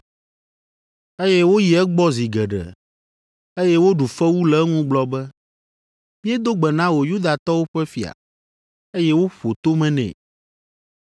eye woyi egbɔ zi geɖe, eye woɖu fewu le eŋu gblɔ be, “Miedo gbe na wò Yudatɔwo ƒe fia.” Eye woƒo tome nɛ.